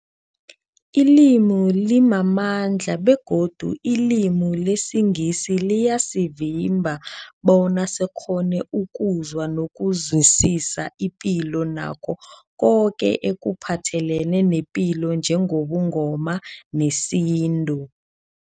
Ilimi limamandla begodu ilimi lesiNgisi liyasivimba bona sikghone ukuzwa nokuzwisisa ipilo nakho koke ekuphathelene nepilo njengobuNgoma nesintu.